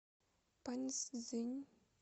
паньцзинь